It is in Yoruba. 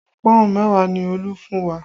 Pọ́ùn mẹ́wàá ni Olú fún wa